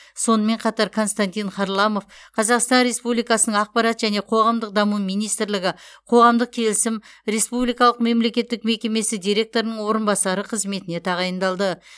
сонымен қатар константин харламов қазақстан республикасының ақпарат және қоғамдық даму министрлігі қоғамдық келісім республикалық мемлекеттік мекемесі директорының орынбасары қызметіне тағайындалды